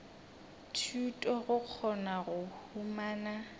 thuto go kgona go humana